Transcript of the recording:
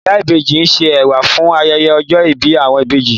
Ìyá ìbejí n ṣe ẹ̀wà fún ayẹyẹ ọjọ ìbí awọn ìbejí